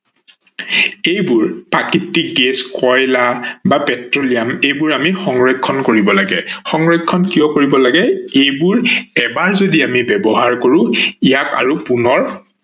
এইবোৰ প্ৰাকৃতিক গেছ, কয়লা বা পেট্ৰলিয়াম এইবোৰ আমি সংৰক্ষন কৰিব লাগে। সংৰক্ষন কিয় কৰিব লাগে এইবোৰ এবাৰ যদি আমি ব্যৱহাৰ কৰো ইয়াক আৰু পুণৰ